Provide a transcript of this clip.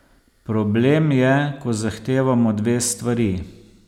Problem je, ko zahtevamo dve stvari.